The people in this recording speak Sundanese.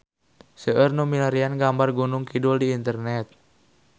Seueur nu milarian gambar Gunung Kidul di internet